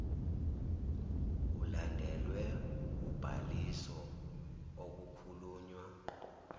ilandelwe ubhaliso okukhulunywa